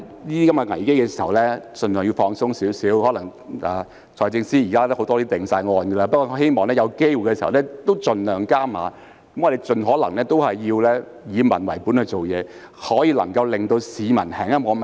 也許財政司司長有很多政策已有定案，但我仍希望政府設法盡量加碼，盡可能以民為本地做事，盡量多做不會令市民那麼憤怒的事。